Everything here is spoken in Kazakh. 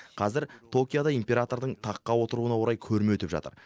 қазір токиода императордың таққа отыруына орай көрме өтіп жатыр